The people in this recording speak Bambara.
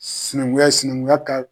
Sinankunya sinankunya ka